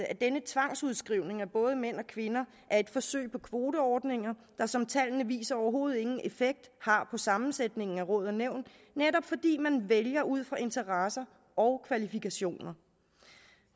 at denne tvangsudskrivning af både mænd og kvinder er et forsøg på kvoteordninger der som tallene viser overhovedet ingen effekt har på sammensætningen af råd og nævn netop fordi man vælger ud fra interesser og kvalifikationer